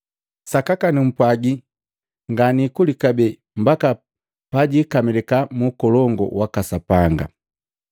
Sakaka numpwagi, nganikuli kabee mbaki pajikamilika mu Ukolongu waka Sapanga.”